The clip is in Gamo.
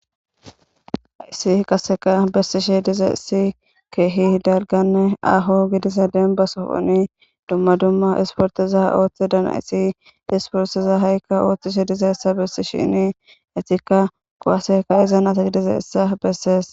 Haisi qaseka bessishe diza issi keehi darganne aho gidisa denba sofoni dumma dumma isportiza ooththe dana isi isportiza ha'ikka ooththishe diza issa bessi shini etikka kowaseka iza na'ata gidiza issa bessees.